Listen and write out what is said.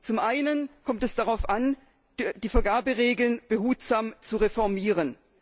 Zum einen kommt es darauf an, die Vergaberegeln behutsam zu reformieren.